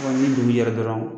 Ni dugu jɛra dɔrɔn